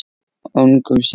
Ungum syni